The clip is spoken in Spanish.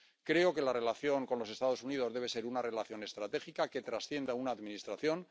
Creo que la relación con los Estados Unidos debe ser una relación estratégica, que trascienda a una Administración.